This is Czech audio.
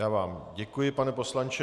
Já vám děkuji, pane poslanče.